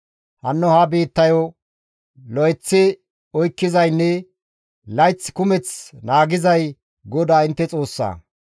Hanno ha biittayo lo7eththi oykkizaynne layth kumeth naagizay GODAA intte Xoossa.